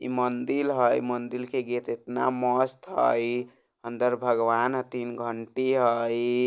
ई मंदील हई मंदील के गेट इतना मस्त हई अन्दर भगवान हतिन घंटी हई।